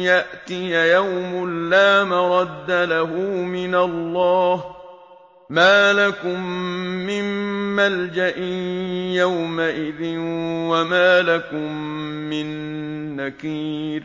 يَأْتِيَ يَوْمٌ لَّا مَرَدَّ لَهُ مِنَ اللَّهِ ۚ مَا لَكُم مِّن مَّلْجَإٍ يَوْمَئِذٍ وَمَا لَكُم مِّن نَّكِيرٍ